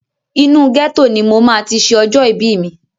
Inú ghetto ni mo máa ti ṣe ọjọ́ ìbí mi.